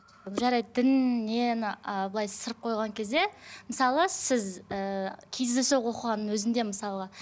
жарайды діннен ы былай ысырып қойған кезде мысалы сіз ііі кездейсоқ оқығанның өзінде мысалы